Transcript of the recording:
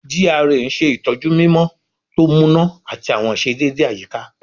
GRA n ṣetọju mimọ to muna ati awọn iṣedede ayika